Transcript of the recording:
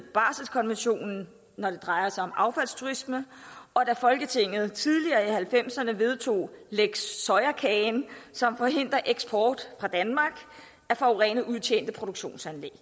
baselkonventionen når det drejer sig om affaldsturisme og da folketinget tidligere i nitten halvfemserne vedtog lex soyakagen som forhindrer eksport fra danmark af forurenede udtjente produktionsanlæg